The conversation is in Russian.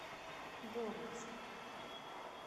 боровск